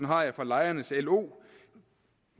har jeg fra lejernes lo